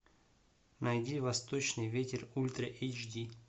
найди восточный ветер ультра эйч ди